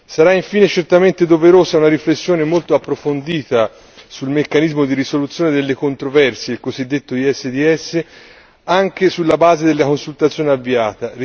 Sarà infine certamente doverosa una riflessione molto approfondita sul meccanismo di risoluzione delle controversie, il cosiddetto ISDS, anche sulla base della consultazione avviata.